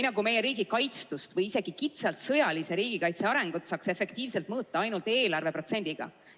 Nagu meie riigi kaitstust või isegi kitsalt sõjalise riigikaitse arengut saaks efektiivselt mõõta ainult eelarveprotsendiga.